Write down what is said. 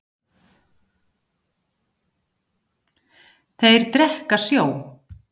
Þeir drekka sjó.